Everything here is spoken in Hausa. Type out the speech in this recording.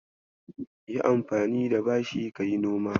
Yi anfani da bashin ka yi noma.